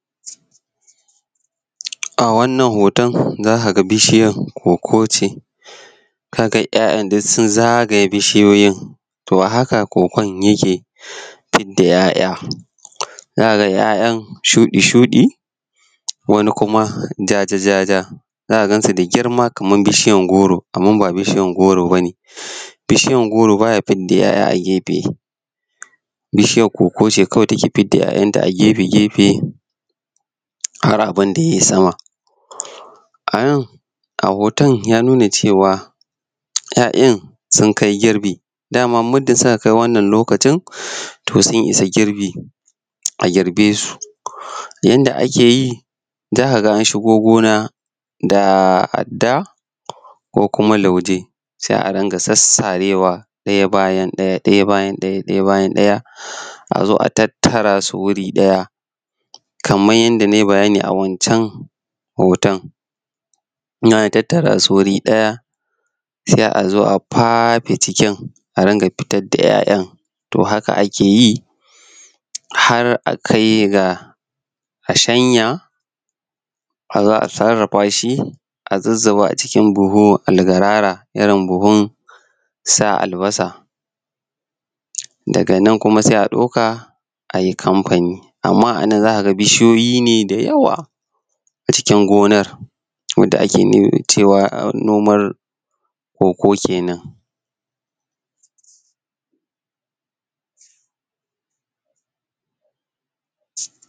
A wannan hoton za ka ga bishiyan koko ce ka ga ‘ya’yan duk sun zagaye bishiyoyin to a haka kokon yake fidda ‘ya’ya za ka ga ‘ya’yan shuɗi-shuɗi wani kuma ja-ja ja-ja za ka gansu da girma kaman bishiyar goro, amma ba bishiyan goro ba ne. Bishiyan goro ba ya fidda ‘ya’ya a gefe, bishiyan koko ce kawai take fidda ‘ya’yanta a gefe-gefe har abun da ya yi sama. A nan a hoton ya nuna cewa ‘ya’yan sunkai girbi daman muddin suka kai wannan lokacin to sun isa girbi, a girbe su yanda ake yi za ka ga an shigo gona da adda ko kuma lauje sai a ringa sassarewa ɗaya bayan ɗaya, ɗaya bayan ɗaya, ɗaya bayan ɗaya a zo a tattara su wuri ɗaya kaman yanda na yi bayani a wancan hoton in an tattarasu wuri ɗaya sai a zo a fafe cikin a ringa fitar da ‘ya’yan. To, haka ake yi har akai ga a shanya a zo a sarrafa shi a zuzzuba a cikin buhu algarara irin buhun sa albasa daga nan kuma sai a ɗauka a yi kamfani amma a nan za ka ga bishiyoyi ne da yawa a cikin gonar wanda ake nomar koko kenan.